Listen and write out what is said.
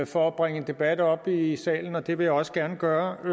for at bringe en debat op i salen og det vil jeg også gerne gøre i